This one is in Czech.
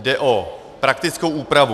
Jde o praktickou úpravu.